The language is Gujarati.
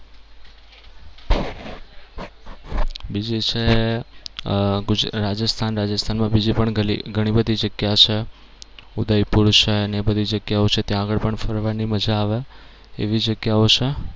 બીજું છ અમ ગુજ રાજસ્થાન રાજસ્થાનમાં બીજી પણ ઘણી બધી જગ્યા છે. ઉદયપુર છે અને એ બધી જગ્યાઓ છે ત્યાં આગળ પણ ફરવાની મજા આવે એવી જગ્યાઓ છે.